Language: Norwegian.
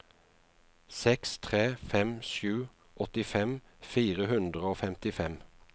seks tre fem sju åttifem fire hundre og femtifem